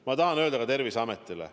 Ma tahan öelda tänu ka Terviseametile.